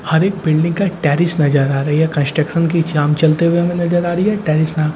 हर एक बिल्डिंग का टेरेस नजर आ रही है कंस्ट्रक्शन की जाम चलते हुए हमें नजर आ रही है टेरिस --